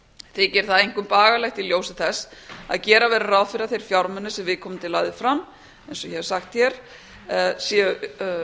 þykir það einkum bagalegt í ljósi þess að gera verður ráð fyrir að þeir fjármunir sem viðkomandi lagði fram eins og ég hef sagt hér þegar